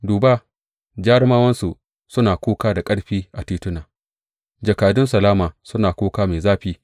Duba, jarumawansu suna kuka da ƙarfi a tituna; jakadun salama suna kuka mai zafi.